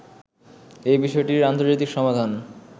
এ বিষয়টির আন্তর্জাতিক সমাধান